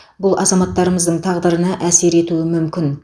бұл азаматтарымыздың тағдырына әсер етуі мүмкін